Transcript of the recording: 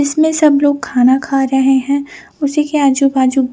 इसमें सब लोग खाना खा रहे है उसी के आजु बाजु--